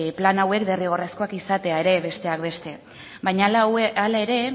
plan hauek derrigorrezkoak izatea ere besteak beste baina hala ere